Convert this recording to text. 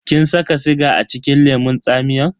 Kin saka siga acikin lemun tsamiyan?